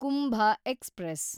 Kumbh express